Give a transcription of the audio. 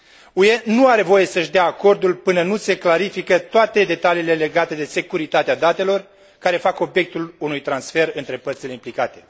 UE nu are voie să își dea acordul până nu se clarifică toate detaliile legate de securitatea datelor care fac obiectul unui transfer între părțile implicate.